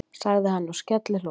sagði hann og skellihló.